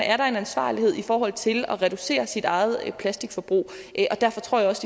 er der en ansvarlighed i forhold til at reducere sit eget plastikforbrug og derfor tror jeg også